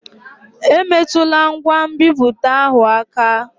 Emetụla ngwa nbipute ahụ aka!